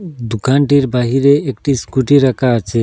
দুকানটির বাহিরে একটি স্কুটি রাখা আছে।